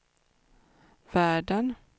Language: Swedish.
världen